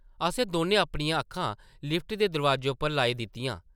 असें दौनें अपनियां अक्खां लिफ्ट दे दरोआजे उप्पर लाई दित्तियां ।